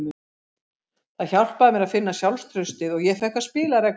Það hjálpaði mér að finna sjálfstraustið og ég fékk að spila reglulega.